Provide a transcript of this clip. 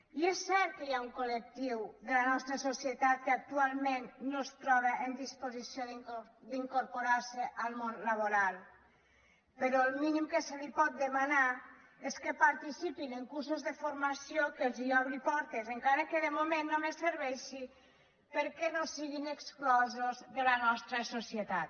i és cert que hi ha un col·etat que actualment no es troba en disposició d’incorporar se al món laboral però el mínim que se’ls pot demanar és que participin en cursos de formació que els obrin portes encara que de moment només serveixi perquè no siguin exclosos de la nostra societat